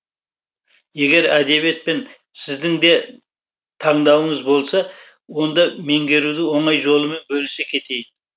егер әдебиет пен сіздің де таңдауыңыз болса онда меңгерудің оңай жолымен бөлісе кетейін